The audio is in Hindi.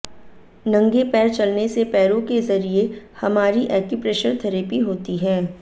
नंगे पैर चलने से पैरों के जरिए हमारी एक्यूप्रेशर थैरेपी होती है